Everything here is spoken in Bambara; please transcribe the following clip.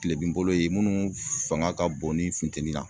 Tile bin bolo ye munnu fanga ka bon ni funteni na